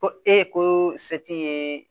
Ko e ko se ti ye